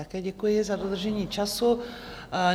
Také děkuji za dodržení času.